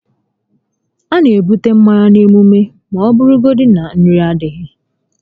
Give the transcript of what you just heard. A na ebute mmanya n'emume ọbụla ma ọ bụrụgodi na nri adịghị